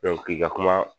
k'i ka kuma